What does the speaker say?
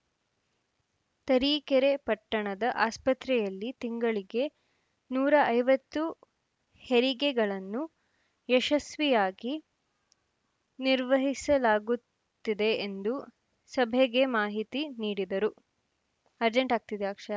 ತರೀಕೆರೆ ಪಟ್ಟಣದ ಆಸ್ಪತ್ರೆಯಲ್ಲಿ ತಿಂಗಳಿಗೆ ನೂರ ಐವತ್ತು ಹೆರಿಗೆಗಳನ್ನು ಯಶ್ಸಸ್ವಿಯಾಗಿ ನಿರ್ವಹಿಸಲಾಗುತ್ತಿದೆ ಎಂದು ಸಭೆಗೆ ಮಾಹಿತಿ ನೀಡಿದರು